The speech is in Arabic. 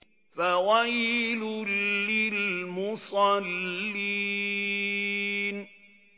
فَوَيْلٌ لِّلْمُصَلِّينَ